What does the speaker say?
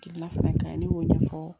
Hakilina fana ka ɲi ne y'o ɲɛfɔ